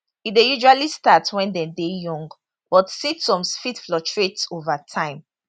e dey usually start wen dem young but symptoms fit fluctuate ova time